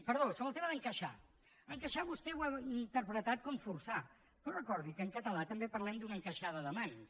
perdó sobre el tema d’encaixar encaixar vostè ho ha interpretat com forçar però recordi que en català també parlem d’una encaixada de mans